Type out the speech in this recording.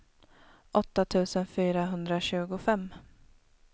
åtta tusen fyrahundratjugofem